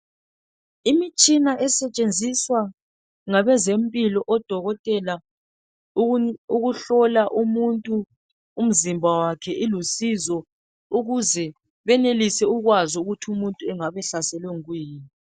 Imitshina esetshenziswa ngabezempilo odokotela ukuhlola umuntu umzimba wakhe ilusizo ukuze benelise ukwazi ukuthi umuntu engabe ehlaselwe ngokuyini.